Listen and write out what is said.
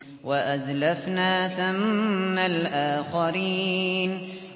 وَأَزْلَفْنَا ثَمَّ الْآخَرِينَ